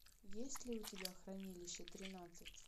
есть ли у тебя хранилище тринадцать